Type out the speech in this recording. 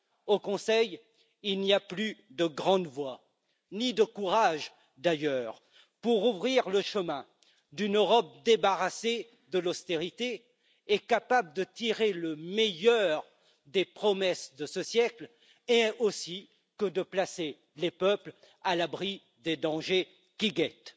Au Conseil, il n'y a plus de grandes voix, ni de courage d'ailleurs, pour ouvrir le chemin d'une Europe débarrassée de l'austérité et capable de tirer le meilleur des promesses de ce siècle ainsi que de placer les peuples à l'abri des dangers qui les guettent.